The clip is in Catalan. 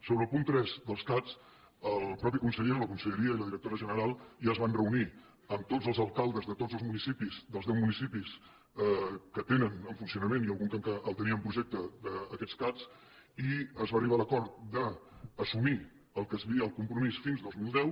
sobre el punt tres dels cat el mateix conseller o la conselleria i la directora general ja es van reunir amb tots els alcaldes de tots els municipis dels deu municipis que tenen en funcionament i algun que el tenia en projecte aquests cat i es va arribar a l’acord d’assumir el que el compromís fins al dos mil deu